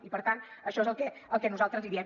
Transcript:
i per tant això és el que nosaltres els diem